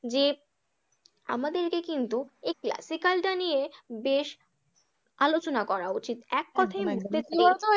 যে আমাদেরকে কিন্তু classical dance এ বেশ আলোচনা করা উচিত, এক কথায় কি বলো তো?